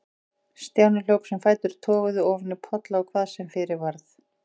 Stjáni hljóp sem fætur toguðu, ofan í polla og hvað sem fyrir varð.